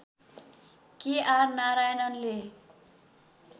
के आर नारायणनले